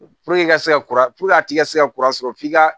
i ka se ka kura a ti ka se ka kura sɔrɔ f'i ka